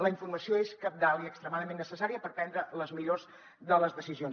la informació és cabdal i extremadament necessària per prendre les millors de les decisions